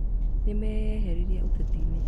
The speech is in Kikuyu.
Na meyeherie ũtetinĩ